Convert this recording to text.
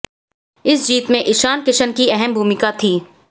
इस जीत में इशान किशन की अहम भूमिका थी